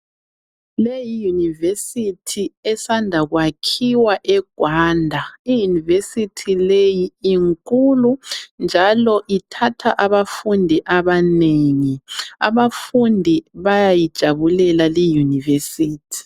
Le yiUniversity esanda kwakhiwa eGwanda. I University le inkulu, njalo ithatha abafundi abanengi. Abafundi bayayijabulela liUniversity.